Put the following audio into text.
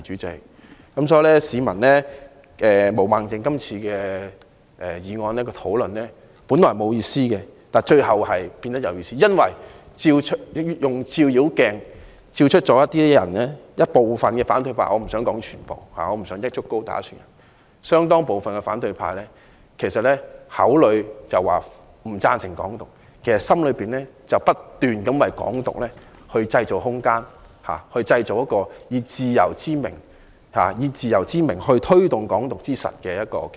代理主席，毛孟靜議員議案的辯論本來是沒有意思的，但最後變得有意思，因為照妖鏡照出了部分反對派——我不想說全部，我不想一竹篙打一船人——口裏說不贊成"港獨"，其實內心希望不斷為"港獨"製造空間，製造一個以自由之名推動"港獨"之實的平台。